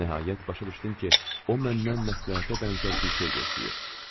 Nəhayət başa düşdüm ki, o məndən məsləhətə bənzər bir şey gözləyir.